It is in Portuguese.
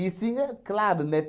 sim, é claro, né?